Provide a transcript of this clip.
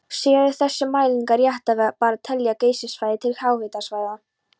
Séu þessar mælingar réttar ber að telja Geysissvæðið til háhitasvæða.